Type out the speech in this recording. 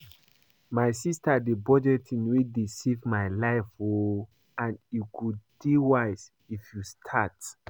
My sister na budgeting wey dey save my life oo and e go dey wise if you start